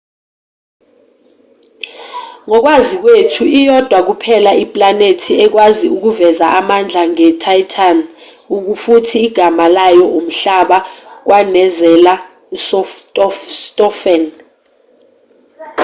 ngokwazi kwethu iyodwa kuphela iplanethi ekwazi ukuveza amandla njenge-titan futhi igama layo umhlaba kwanezela ustofan